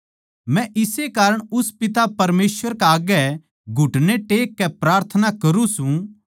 मै इस्से कारण उस पिता परमेसवर कै आग्गै घुटने टेक कै प्रार्थना करुँ सू